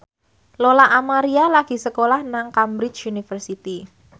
Lola Amaria lagi sekolah nang Cambridge University